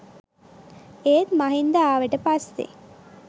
ඒත් මහින්ද ආවට පස්සේ